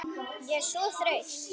Ég er svo þreytt